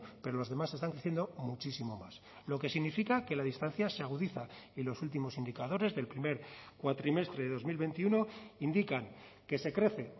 pero los demás están creciendo muchísimo más lo que significa que la distancia se agudiza y los últimos indicadores del primer cuatrimestre de dos mil veintiuno indican que se crece